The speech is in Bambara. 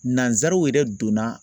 Nansaraw yɛrɛ donna